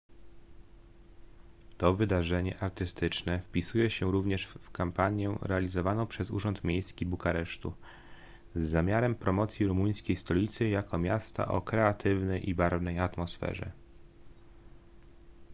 to wydarzenie artystyczne wpisuje się również w kampanię realizowaną przez urząd miejski bukaresztu z zamiarem promocji rumuńskiej stolicy jako miasta o kreatywnej i barwnej atmosferze